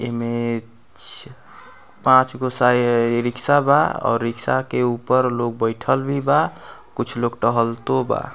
इमे एए ज पांच गो साय रिक्शा बा और रिक्शा के ऊपर लोग बइठल भी बा कुछ लोग टहलतो बा।